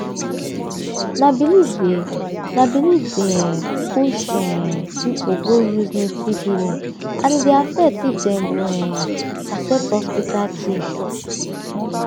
na belief dey na belief dey um push um people go use native healing and e dey affect if dem go um accept hospital care.